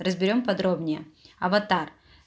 разберём подробнее аватар